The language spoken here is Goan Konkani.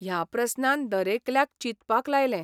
ह्या प्रस्नान दरेकल्याक चिंतपाक लायलें.